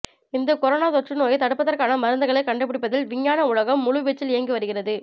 இந்த கொரோனா தொற்று நோயை தடுப்பதற்கான மருந்துகளை கண்டுபிடிப்பதில் விஞ்ஞான உலகம் முழு வீச்சில் இயங்கி வருகிறது